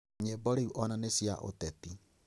Nyimbo rĩu ona nĩ cia ũteti